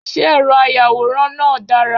Ṣé ẹ̀rọ ayàwòrán náà dára.?